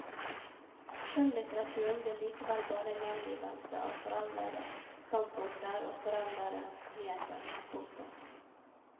Skjønnlitteraturen blir likevel bare en gjengivelse av foreldede standpunkter og foreldede nyheter. punktum